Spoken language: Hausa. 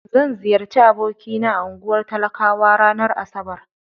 Zan ziyarci abokina a unguwar talakawa ranar asabar.